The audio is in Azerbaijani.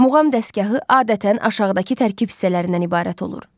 Muğam dəstgahı adətən aşağıdakı tərkib hissələrindən ibarət olur: